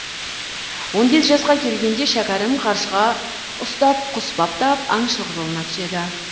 он бес жасқа келгенде шәкәрім қаршыға ұстап құс баптап аңшылық жолына түседі